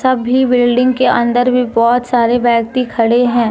अभी बिल्डिंग के अंदर भी बहुत सारे व्यक्ति खड़े हैं।